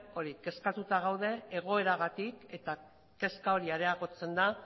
kezkatuta gaude egoeragatik eta kezka hori areagotzen da